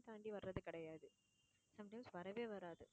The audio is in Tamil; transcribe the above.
தாண்டி வர்றது கிடையாது. sometimes வரவே வராது.